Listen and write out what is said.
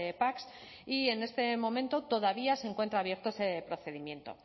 pac y en este momento todavía se encuentra abierto ese procedimiento